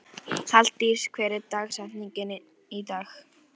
Halldís, hver er dagsetningin í dag?